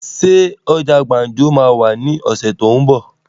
Ṣé ọjà gbàǹjo máa wà ní ọ̀sẹ̀ tó ún bọ̀?